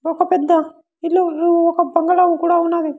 ఒక పెద్ద ఇల్లులు ఒక బంగ్లా కూడా ఉన్నది.